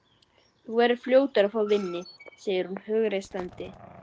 Þú verður fljótur að fá vinnu, segir hún hughreystandi.